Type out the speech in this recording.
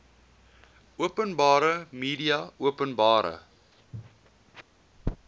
openbare media openbare